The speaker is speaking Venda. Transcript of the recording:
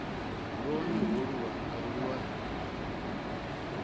lwone holu lwanga lu a